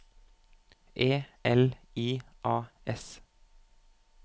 E L I A S